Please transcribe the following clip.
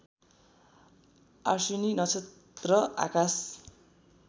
अश्विनी नक्षत्र आकाश